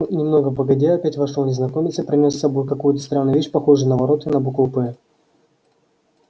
немного погодя опять вошёл незнакомец и принёс с собой какую-то странную вещь похожую на ворота и на букву п